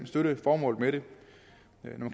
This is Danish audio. støtte formålet med det når man